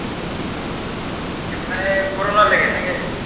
মানে corona লেগে নাকি?